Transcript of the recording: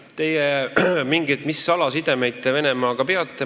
Ma ei oska kommenteerida, mis salajast sidet te Venemaaga peate.